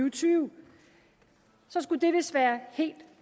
og tyve så skulle det vist være helt